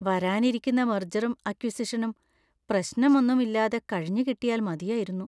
വരാനിരിക്കുന്ന മെർജറും അക്വിസിഷനും പ്രശ്നമൊന്നും ഇല്ലാതെ കഴിഞ്ഞുകിട്ടിയാൽ മതിയായിരുന്നു.